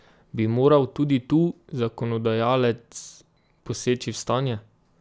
Bi moral tudi tu zakonodajalec poseči v stanje?